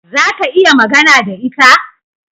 Za ka iya magana da ita?